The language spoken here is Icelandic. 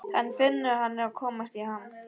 Hann finnur að hann er að komast í ham.